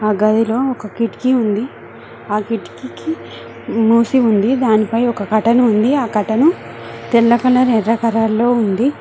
ఆ గదిలో ఒక కిటికీ ఉంది ఆ కిటికి కి మూసి ఉంది దాని పై ఒక కర్టన్ ఉంది ఆ కర్టెను తెల్ల కలర్ ఎర్ర కలర్ లో ఉంది.